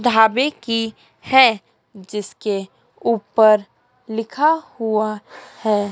ढाबे की है जिसके ऊपर लिखा हुआ है।